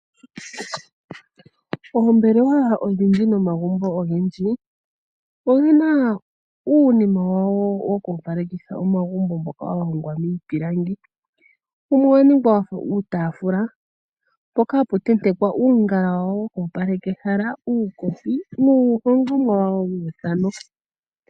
Oombelewa odhindji nomagumbo ogendji owu na uunima wawo woku opalekitha omagumbo mboka wa hongwa miipilangi. Wumwe owa ningwa wa fa uutaafula mpoka hapu tentekwa uungala wawo woku opaleka ehala, uukopi nuuhongomwa wawo wa yoolokathana.